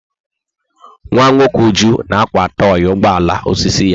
Nwa nwoke Uju na-akwa tọị ugbo ala osisi ya.